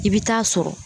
I bɛ taa sɔrɔ